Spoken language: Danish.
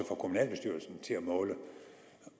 i til at måle